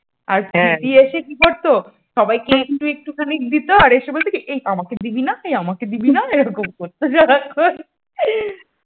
আর প্রীতি এসে কি করতো? সবাইকেই একটু একটুখানি দিত এসে বলতো এই আমাকে দিবি না এই আমাকে দিবি না এইরকম করতো সারাক্ষণ